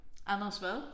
Anders hvad?